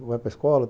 Vai para escola?